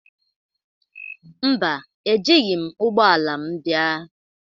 Mba, Ejighị m ụgbọ ala m bịa.